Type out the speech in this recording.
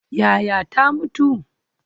Yaya ta mutu?